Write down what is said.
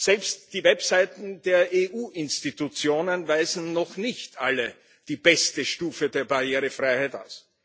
Selbst die Webseiten der EU Organe weisen noch nicht alle die beste Stufe der Barrierefreiheit auf.